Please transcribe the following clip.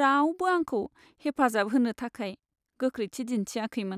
रावबो आंखौ हेफाजाब होनो थाखाय गोख्रैथि दिन्थियाखैमोन।